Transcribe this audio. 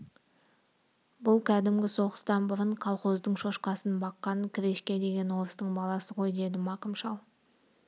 бұл кәдімгі соғыстан бұрын колхоздың шошқасын баққан крешке деген орыстың баласы ғой деді мақым шал